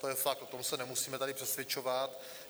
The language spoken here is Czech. To je fakt, o tom se nemusíme tady přesvědčovat.